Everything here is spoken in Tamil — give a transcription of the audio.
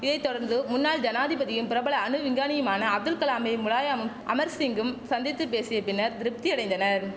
இதை தொடர்ந்து முன்னாள் ஜனாதிபதியும் பிரபல அணு விஞ்ஞானியுமான அப்துல் கலாமை முலாயமும் அமர்சிங்கும் சந்தித்து பேசிய பின்னர் திருப்தியடைந்தனர்